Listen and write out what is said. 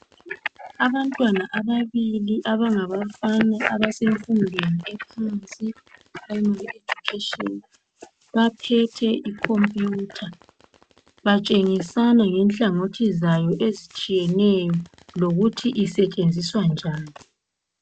Abantwana ababili abangabafana abasemfundweni ephansi eyiphulayimali ejukheshini baphethe ikhompiyutha batshengisana ngenhlangothi zayo ezitshiyeneyo lokuthi isetshenziswa njan